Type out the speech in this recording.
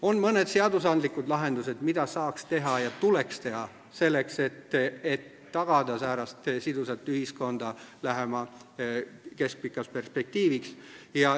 On mõned seadusandlikud lahendused, mida saaks ja tuleks teha selleks, et tagada selline sidus ühiskond lähemaks keskpikaks perspektiiviks.